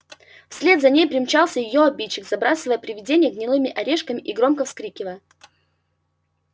вслед за ней примчался и её обидчик забрасывая привидение гнилыми орешками и громко вскрикивая